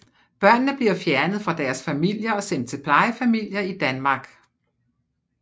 Børnene bliver fjernet fra deres familier og sendt til plejefamilier i Danmark